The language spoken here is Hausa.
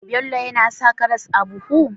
Bello yAna sa karas a buhu?